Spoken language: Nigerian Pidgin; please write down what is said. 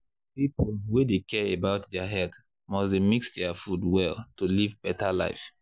people wey dey care about their health must dey mix their food well to live better life.